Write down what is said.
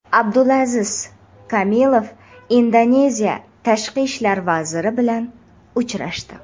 Abdulaziz Kamilov Indoneziya tashqi ishlar vaziri bilan uchrashdi.